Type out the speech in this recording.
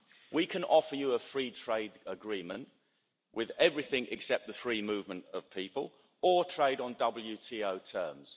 We can offer you a free trade agreement with everything except the free movement of people, or trade on WTO terms.